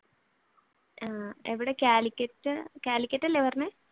ആഹ് എവിടെ Calicut Calicut അല്ലെ പറഞ്ഞെ?